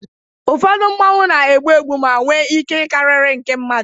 ụfọdụ Mmanwu na-egbu egbu ma nwee ike karịrị nke mmadụ